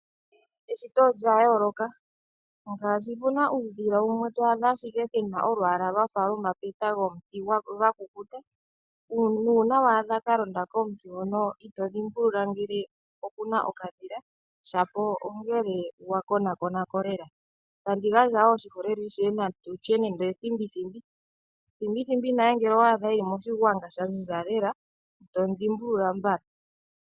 Eshito olya yooloka, ngaashi puna uudhila wumwe towu adha ashike wuna olwaala lwafa omapeta gomuti gwakukuta, nuuna waadha kalonda a komuti itodhimbulula ngele okuna okadhila shapo ongele wakonakonako lela. Tandi gandja oshiholelwa kuthimbithimbi, thimbithimbi ngele owadha eli moshigwanga shaziza lela ito mu dhimbulula mbala.